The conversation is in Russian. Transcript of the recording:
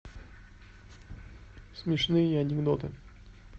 смешные анекдоты